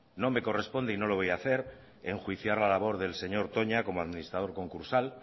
no me corresponde y no lo voy a hacer enjuiciar la labor del señor toña como administrados concursal